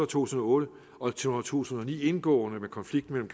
tusind og otte og to tusind og ni indgående med konflikten